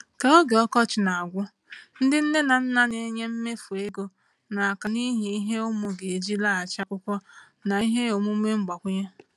Ka oge ọkọchị na-agwụ, ndị nne na nna na-enye mmefu ego n’aka n’ihi ihe ụmụ ga-eji laghachi akwụkwọ na ihe omume mgbakwunye.